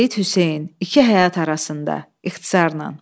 Seyid Hüseyn, İki Həyat Arasında, ixtisarən.